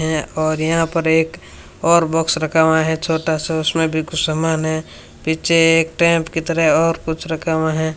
हैं और यहां पर एक और बॉक्स रखा हुआ है छोटा सा उसमें भी कुछ समान है पीछे एक टेम्प की तरह और कुछ रखा हुआ है।